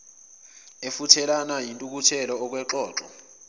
efuthelana yintukuthelo okwexoxo